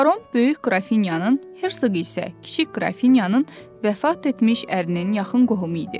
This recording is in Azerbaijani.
Baron böyük qrafinyanın, Hərsıq isə kiçik qrafinyanın vəfat etmiş ərinin yaxın qohumu idi.